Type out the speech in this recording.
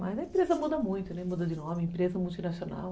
Mas a empresa muda muito, muda de nome, empresa multinacional.